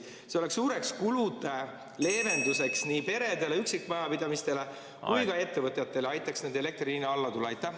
See oleks suureks kulude leevenduseks nii peredele, üksikmajapidamistele kui ka ettevõtjatele ja aitaks neil elektri hinna alla tuua.